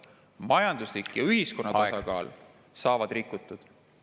Majanduslik ja ühiskonna tasakaal saavad rikutud.